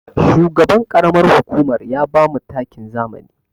Shugaban ƙaramar hukumar ya bamu takin zamani.